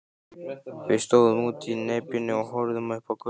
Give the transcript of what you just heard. Við stóðum úti í nepjunni og horfðum upp á götuna.